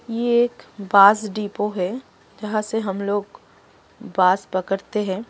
यह एक bus depot है जहां से हम लोग बस पकड़ते हैं।